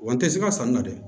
Wa n tɛ siga sanni na dɛ